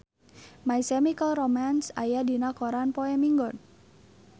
My Chemical Romance aya dina koran poe Minggon